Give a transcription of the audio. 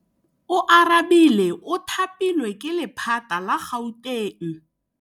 Oarabile o thapilwe ke lephata la Gauteng.